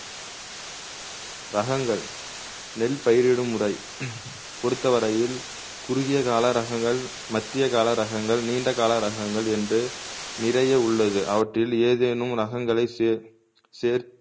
ரகங்கள் நெல் பயிரிடும் முறை பொருத்தவரையில் குறுகிய கால ரகங்கள் மத்திய கால ரகங்கள் நீண்ட கால ரகங்கள் என்று நிறைய உள்ளது அவற்றில் ஏதேனும் ரகங்களை சேர் சேர்